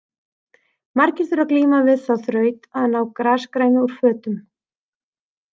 Margir þurfa að glíma við þá þraut að ná grasgrænu úr fötum.